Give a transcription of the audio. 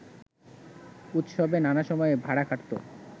উৎসবে নানা সময়ে ভাড়া খাটত